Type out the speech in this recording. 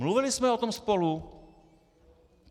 Mluvili jsme o tom spolu?